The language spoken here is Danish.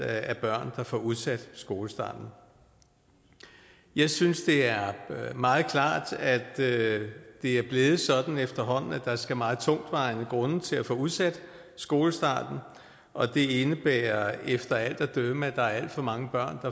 af børn der får udsat skolestarten jeg synes det er meget klart at det er blevet sådan efterhånden at der skal meget tungtvejende grunde til at få udsat skolestarten og det indebærer efter alt at dømme at der er alt for mange børn